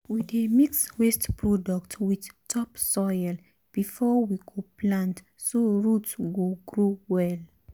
we dey mix waste product with topsoil before we go plant so root go grow well.